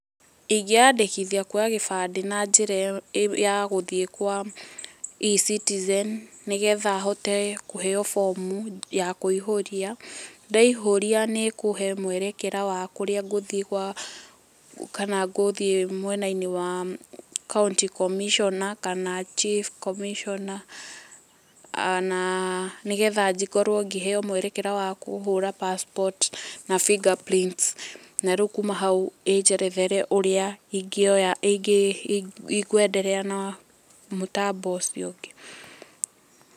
Ingĩ yandĩkithia kuoya gĩbandĩ na njira ya E-citizen, nĩ getha hote kũheo bomu ya kũihũria. Ndaihũria nĩ ikũhe mwerekera wa kũrĩa ngũthiĩ gwa kana ngũthiĩ mwena-inĩ wa County Commissioner na kana Chief comissioner na nĩgetha ngorwo ngĩheo mwerekera wa kũhũra passport na finger prints, na rĩu kuma hau ĩnjerethere ũrĩa ingĩoya, ngũenderea na mũtambo ũcio ũngĩ.